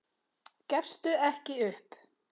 Gefstu ekki upp.